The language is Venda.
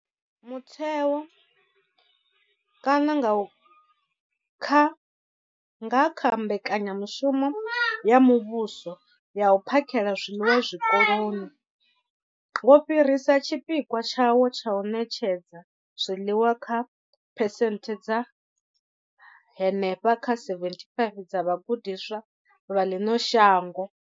Mutheo, nga kha mbekanyamushumo ya muvhuso ya u phakhela zwiḽiwa zwikoloni, wo fhirisa tshipikwa tshawo tsha u ṋetshedza zwiḽiwa kha phesenthe dza henefha kha 75 dza vhagudiswa vha ḽino shango.